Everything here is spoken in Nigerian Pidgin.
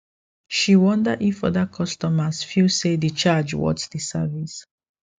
she wonder if other customers feel say the charge worth the service